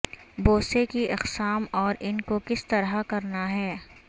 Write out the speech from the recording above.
بوسے کی اقسام اور ان کو کس طرح کرنا ہے